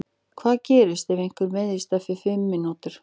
Hvað gerist ef einhver meiðist eftir fimm mínútur?